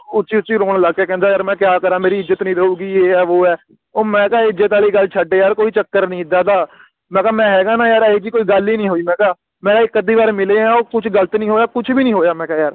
ਉੱਚੀ ਉੱਚੀ ਰੋਣ ਲੱਗ ਗਿਆ ਕਹਿੰਦਾ ਯਾਰ ਮੈਂ ਕਯਾ ਕਰਾਂ ਯਾਰ ਮੇਰੀ ਇਜ਼ਤ ਨਹੀਂ ਰਹੂਗੀ ਏ ਹੈ ਓ ਹੈ ਓ ਮੈਂ ਕਿਹਾ ਇੱਜ਼ਤ ਆਲੀ ਗੱਲ ਛੱਡ ਯਾਰ ਕੋਈ ਚੱਕਰ ਨੀ ਇਦਾ ਦਾ ਮੈਂ ਕਿਹਾ ਮੈਂ ਹੇਗਾ ਨਾ ਯਾਰ ਇਹੀ ਜਿਹੀ ਕੋਈ ਗੱਲ ਹੀ ਨਹੀਂ ਹੋਈ ਮੈਂ ਕਿਹਾ ਮੈਂ ਇਕ ਅੱਧੀ ਬਾਰ ਮਿਲਿਆ ਕੁਝ ਗ਼ਲਤ ਨਹੀਂ ਹੋਇਆ ਕੁਝ ਵੀ ਨਹੀਂ ਹੋਇਆ ਮੈਂ ਕਿਹਾ ਯਾਰ